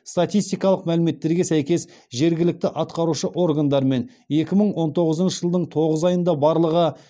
статистикалық мәліметтерге сәйкес жергілікті атқарушы органдармен екі мың он тоғызыншы жылдың тоғыз айында барлығы